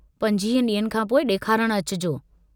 25 डींनि खां पोइ डेखारण अचिजो।